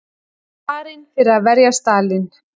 Barinn fyrir að verja Stalín